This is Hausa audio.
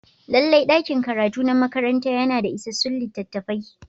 Lallai ɗakin karatu na makaranta yana da isassun littattafai.